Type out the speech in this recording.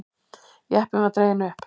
Jeppinn var dreginn upp.